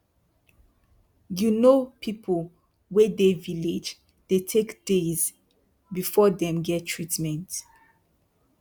you no people wey dey village dey take days before them get treatment.